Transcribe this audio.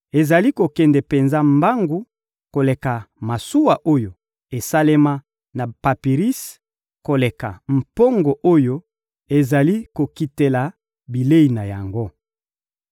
Ezali kokende penza mbangu koleka masuwa oyo esalema na papirisi, koleka mpongo oyo ezali kokitela bilei na yango.